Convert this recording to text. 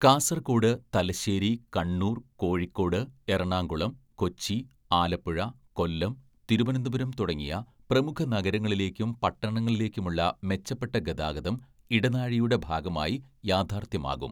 കാസർഗോഡ്, തലശ്ശേരി, കണ്ണൂർ, കോഴിക്കോട്, എറണാകുളം, കൊച്ചി, ആലപ്പുഴ, കൊല്ലം, തിരുവനന്തപുരം തുടങ്ങിയ പ്രമുഖ നഗരങ്ങളിലേക്കും പട്ടണങ്ങളിലേക്കും ഉള്ള മെച്ചപ്പെട്ട ഗതാഗതം ഇടനാഴിയുടെ ഭാഗമായി യാഥാർഥ്യമാകും.